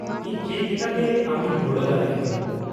ᱤᱧ ᱪᱮᱫ ᱞᱮᱠᱟᱛᱮ ᱟᱢᱤᱧ ᱜᱚᱲᱚ ᱫᱟᱲᱮ ᱟᱢᱟ ?